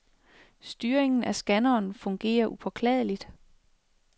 Styringen af scanneren fungerer upåklageligt.